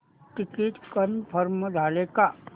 ticket confirm झाले का